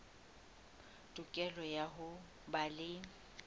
tokelo ya ho ba le